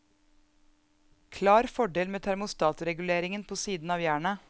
Klar fordel med termostatreguleringen på siden av jernet.